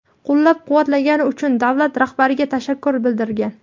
qo‘llab-quvvatlagani uchun davlat rahbariga tashakkur bildirgan.